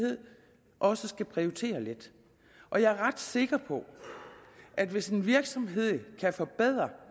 også at prioritere lidt og jeg er ret sikker på at hvis en virksomhed kan forbedre